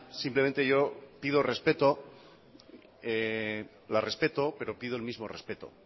simplemente yo pido respeto la respeto pero pido el mismo respeto